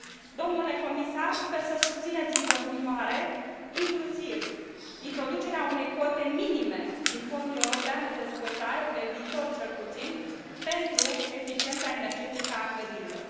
Domnule comisar, sper să susțineți în continuare inclusiv introducerea unei cote minime din Fondul European de Dezvoltare, pe viitor cel puțin, pentru eficiența energetică a clădirilor.